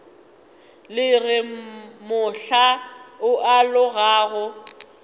re le mohla o alogago